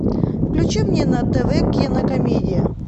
включи мне на тв кинокомедия